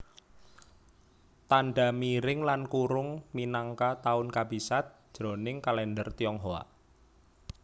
Tandha miring lan kurung minangka taun kabisat jroning kalèndher Tionghoa